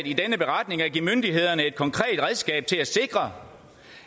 i denne beretning at give myndighederne et konkret redskab til at sikre